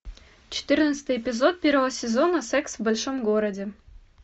четырнадцатый эпизод первого сезона секс в большом городе